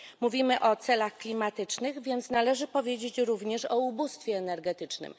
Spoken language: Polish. Mówimy o celach klimatycznych, więc należy powiedzieć również o ubóstwie energetycznym.